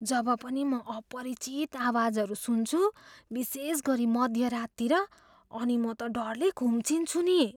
जब पनि म अपरिचित आवाजहरू सुन्छु, विशेषगरी मध्य राततिर, अनि म त डरले खुम्चिन्छु नि।